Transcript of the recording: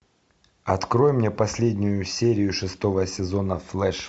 открой мне последнюю серию шестого сезона флэш